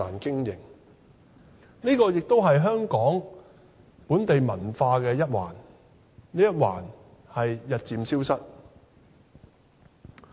這也是香港本地文化的一環，但這一環正日漸消失。